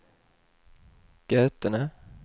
Götene